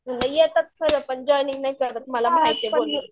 येतात खरं पण जॉइनिंग नाही करत मला माहिती आहे.